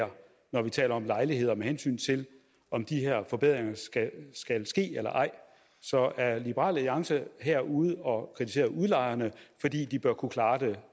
her når vi taler om lejligheder med hensyn til om de her forbedringer skal ske eller ej så er liberal alliance her ude og kritisere udlejerne fordi de bør kunne klare det